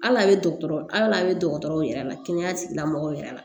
Hali a bɛ dɔgɔtɔrɔ al'a bɛ dɔgɔtɔrɔw yɛrɛ la kɛnɛya tigilamɔgɔw yɛrɛ la